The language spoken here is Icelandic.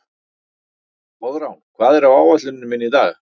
Koðrán, hvað er á áætluninni minni í dag?